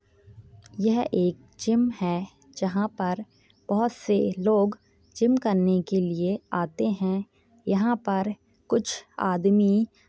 यह एक जिम है जहाँ पर बहुत से लोग जिम करने के लिए आते है यहाँ पर कुछ आदमी--